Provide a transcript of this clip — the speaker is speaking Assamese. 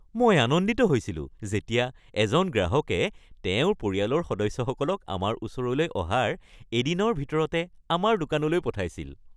মই আনন্দিত হৈছিলোঁ যেতিয়া এজন গ্ৰাহকে তেওঁৰ পৰিয়ালৰ সদস্যসকলক আমাৰ ওচৰলৈ অহাৰ এদিনৰ ভিতৰতে আমাৰ দোকানলৈ পঠাইছিল।